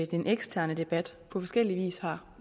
den eksterne debat på forskellig vis har